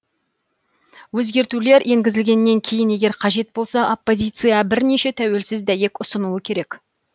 өзгертулер енгізілгеннен кейін егер қажет болса оппозиция бірнеше тәуелсіз дәйек ұсынуы керек